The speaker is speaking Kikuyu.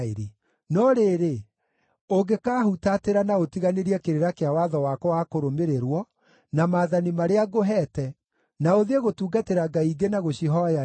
“No rĩrĩ, ũngĩkahutatĩra na ũtiganĩrie kĩrĩra kĩa watho wakwa wa kũrũmĩrĩrwo, na maathani marĩa ngũheete, na ũthiĩ gũtungatĩra ngai ingĩ na gũcihooya-rĩ,